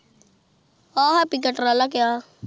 ਆਹ ਹੈਪ੍ਪੀ ਦਾ ਟਰਾਲਾ ਕਿਹਾ ਆ